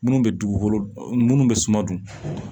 Minnu bɛ dugukolo munnu bɛ suma dun